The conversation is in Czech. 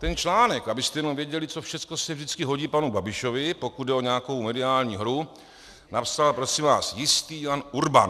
Ten článek, abyste jenom věděli, co všechno se vždycky hodí panu Babišovi, pokud jde o nějakou mediální hru, napsal prosím vás jistý Jan Urban.